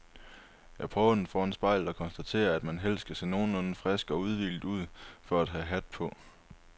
Jeg prøver den foran spejlet og konstaterer, at man helst skal se nogenlunde frisk og udhvilet ud for at have hat på.